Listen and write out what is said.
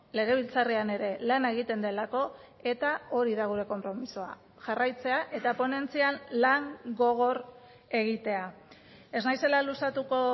legebiltzarrean ere lana egiten delako eta hori da gure konpromisoa jarraitzea eta ponentzian lan gogor egitea ez naizela luzatuko